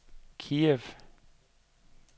Kiev